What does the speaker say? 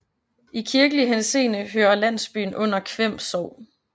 I kirkelig henseende hører landsbyen under Kværn Sogn